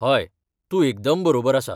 हय, तूं एकदम बरोबर आसा.